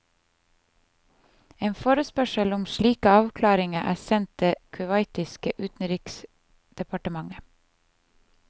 En forespørsel om slike avklaringer er sent det kuwaitiske utenriksdepartementet.